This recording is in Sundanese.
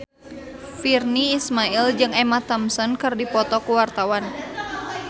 Virnie Ismail jeung Emma Thompson keur dipoto ku wartawan